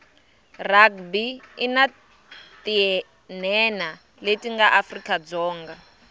rugby inatinhenha letinga afrika dzonga